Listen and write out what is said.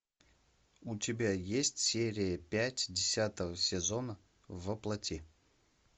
у тебя есть серия пять десятого сезона во плоти